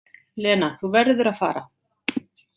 Lena, þú verður að fara!